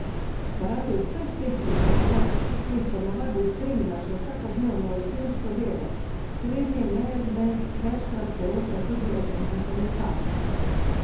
Zaradi vseh teh pričakovanj, ki jih ponavadi spremlja še vsakodnevno rutinsko delo, srednji menedžment večkrat poroča tudi o pomanjkanju časa.